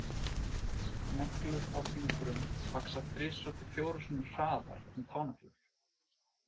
Neglur á fingrum vaxa þrisvar til fjórum sinnum hraðar en táneglur.